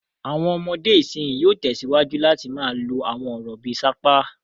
Àwọn ọmọdé ìsìnyín yóò tẹ̀síwájú láti máa lo àwọn ọ̀rọ̀ bí i "sapá".